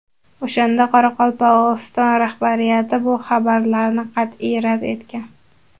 O‘shanda Qoraqalpog‘iston rahbariyati bu xabarlarni qat’iy rad etgan.